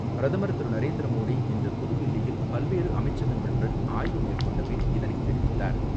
பிரதமர் திரு நரேந்திரமோடி இன்று புதுதில்லியில் பல்வேறு அமைச்சகங்களுடன் ஆய்வு மேற்கொண்டபின், இதனைத் தெரிவித்தார்.